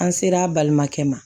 An ser'a balimakɛ ma